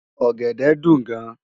Ògèdè dún gán